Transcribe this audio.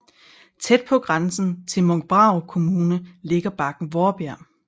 Tæt på grænsen til Munkbrarup Kommune ligger bakken Vaarbjerg